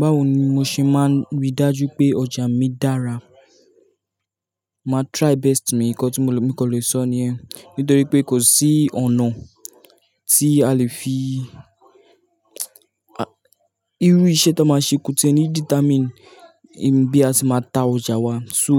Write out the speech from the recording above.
Báwo ni mo ṣe máa rí dájú pé ọjà mi dára? Mà try best mi, nǹkan tí mo lè sọ ni yen, nítorí pé kò sí ọ̀nà tí a lè fi Irú iṣẹ́ tan máa ṣe kotie ni determine bí a ṣe máa ta ọjà wa. So,